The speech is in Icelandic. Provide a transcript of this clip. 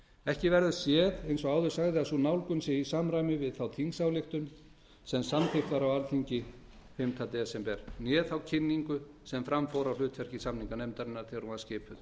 ekki verður séð eins og áður sagði að sú nálgun sé í samræmi við þá þingsályktun sem samþykkt var á alþingi fimmta desember né þá kynningu sem fram fór á hlutverki samninganefndarinnar þegar hún var skipuð